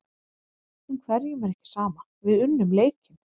En hverjum er ekki sama, við unnum leikinn.